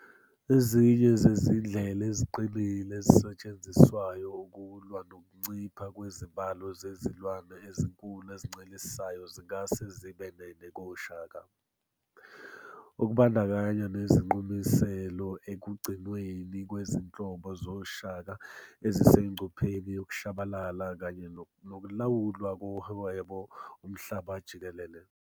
Ezinye zezindlela eziqinile ezisetshenziselwa ukulwa nokuncipha kwezibalo zezilwane ezinkulu ezincelisayo zingase zibe nenekoShaka, okunbandakanya nezinqumiselelo ekugcinweni kwizinhlobo zoShaka ezisengcupheni yokushabalala kanye nokulawulwa kohwebo uMhlaba jikelele.